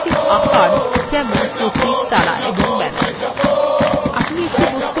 মৌলিক geometric আকার যেমন প্রতীক তারা এবং banners